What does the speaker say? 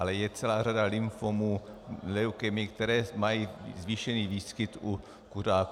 Ale je celá řada lymfomů, leukémie, které mají zvýšený výskyt u kuřáků.